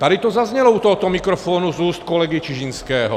Tady to zaznělo u tohoto mikrofonu z úst kolegy Čižinského.